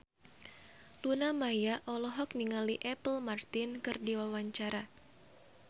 Luna Maya olohok ningali Apple Martin keur diwawancara